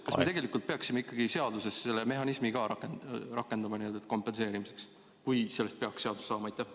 Kas me tegelikult peaksime ikkagi seaduses selle mehhanismi ka rakendama, kompenseerimiseks, kui sellest peaks seadus saama?